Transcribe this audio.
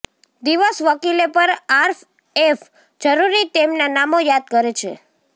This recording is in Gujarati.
દિવસ વકીલે પર આરએફ જરૂરી તેમના નામો યાદ કરે છે